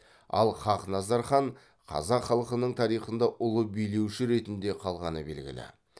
ал хақназар хан қазақ халқының тарихында ұлы билеуші ретінде қалғаны белгілі